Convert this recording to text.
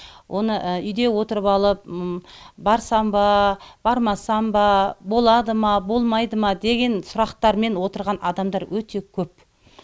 оны үйде отырып алып барсам ба бармасам ба болады ма болмайды ма деген сұрақтармен отырған адамдар өте көп